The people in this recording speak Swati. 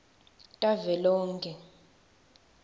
tavelonkhe